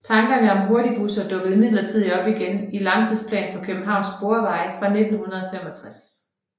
Tankerne om hurtigbusser dukkede imidlertid op igen i Langtidsplan for Københavns Sporveje fra 1965